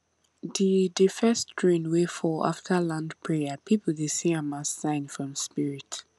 the the first rain wey fall after land prayer people dey see am as sign from spirit